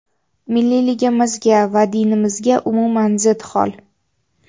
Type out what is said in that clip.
Milliyligimizga va dinimizga umuman zid hol.